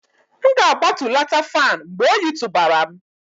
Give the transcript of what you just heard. M ga-agbatulata fan mgbe oyi tụbara m